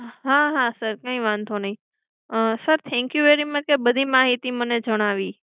હા હા sir કઈ વાંધો નહિ. અમ sir thank you very much એ બધી માહિતી મને જણાવી.